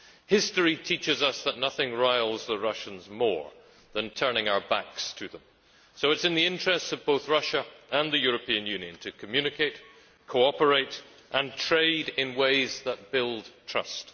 History teaches us that nothing riles the Russians more than turning our backs to them, so it is in the interests of both Russia and the European Union to communicate, cooperate and trade in ways that build trust.